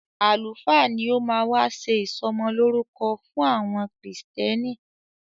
Àlùfáà ni o máa wá ṣé ìsọmọlórúkọ fún àwọn krìstẹ́nì.